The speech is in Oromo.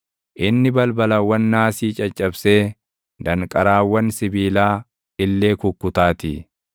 inni balbalawwan naasii caccabsee danqaraawwan sibiilaa illee kukkutaatii.